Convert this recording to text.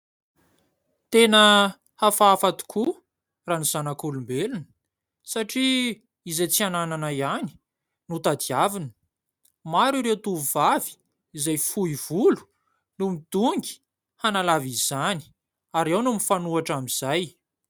Tena hafahafa tokoa raha ny zanak'olombelona, satria izay tsy ananana ihany no tadiavina. Maro ireo tovovavy izay fohy volo no midongy hanalava izany, ary ao ny mifanohitra amin'izay.